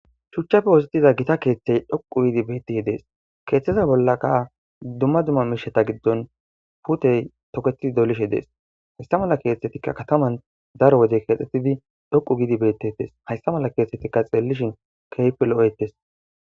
shuchchafe wositiza gita keeththey dhoqu giidi beettih dees keeththeza bollaka duma duma misheta giddon putey toketidi dolishe dees haysta mala keeththetikka kataman daro wodey kexxetidi dhoqu giidi bettetes haysta mala keesetikka xeellishin kehipe lo7eetes